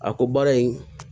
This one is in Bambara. A ko baara in